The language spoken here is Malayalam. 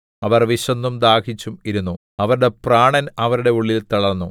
അവർ വിശന്നും ദാഹിച്ചും ഇരുന്നു അവരുടെ പ്രാണൻ അവരുടെ ഉള്ളിൽ തളർന്നു